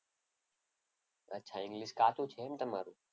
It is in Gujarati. અચ્છા ઈંગ્લીશ કાચું છે એમ તમારું?